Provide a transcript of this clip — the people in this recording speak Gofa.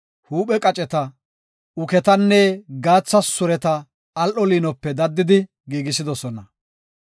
huuphe qaceta, uketanne gaatha sureta al7o liinope daddidi giigisidosona.